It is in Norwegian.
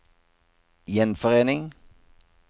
gjenforening